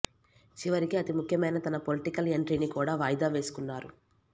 చివరికి అతి ముఖ్యమైన తన పొలిటికల్ ఎంట్రీని కూడ వాయిదా వేసుకున్నారు